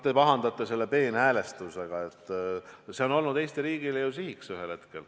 Te pahandate selle peenhäälestuse peale, aga see on olnud ühel hetkel ju Eesti riigi siht.